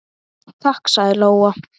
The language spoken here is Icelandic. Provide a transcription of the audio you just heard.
Takk, sagði Lóa.